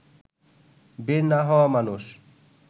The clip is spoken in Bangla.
বের না হওয়া মানুষ